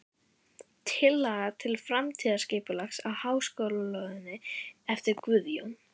Tillaga til framtíðarskipulags á háskólalóðinni eftir Guðjón